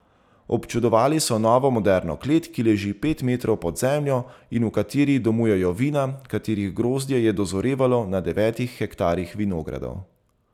Občudovali so novo, moderno klet, ki leži pet metrov pod zemljo in v kateri domujejo vina, katerih grozdje je dozorevalo na devetih hektarjih vinogradov.